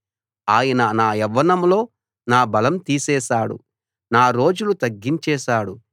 ఆయన నా యవ్వనంలో నా బలం తీసేశాడు నా రోజులు తగ్గించేసాడు